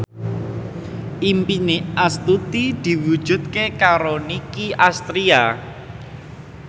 impine Astuti diwujudke karo Nicky Astria